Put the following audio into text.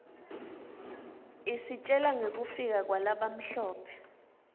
isitjela ngekufika kwalabamhlope